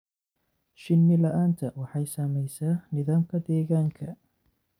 Shinni la'aanta waxay saamaysaa nidaamka deegaanka.